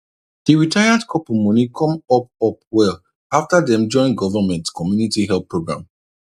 di retired couple money come up up well after dem join government community help program